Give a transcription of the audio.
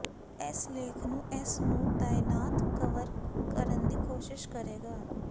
ਇਸ ਲੇਖ ਨੂੰ ਇਸ ਨੂੰ ਤਾਇਨਾਤ ਕਵਰ ਕਰਨ ਦੀ ਕੋਸ਼ਿਸ਼ ਕਰੇਗਾ